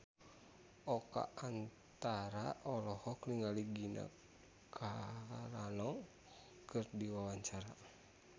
Oka Antara olohok ningali Gina Carano keur diwawancara